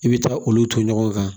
I bɛ taa olu to ɲɔgɔn kan